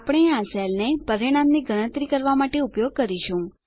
આપણે આ સેલને પરિણામની ગણતરી કરવા માટે ઉપયોગ કરીશું